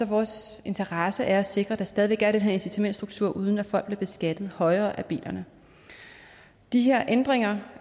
vores interesse at sikre at der stadig væk er den her incitamentsstruktur uden at folk bliver beskattet højere af bilerne de her ændringer